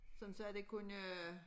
Sådan så det ikke kun øh